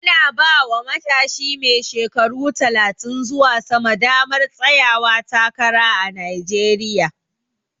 Ana bawa matshi mai shekaru talatin zuwa sama damar tsayawa takara a Najeriya